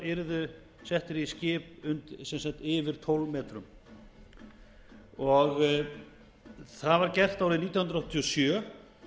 yrðu settir í skip yfir tólf metrum það var gert árið nítján hundruð áttatíu og sjö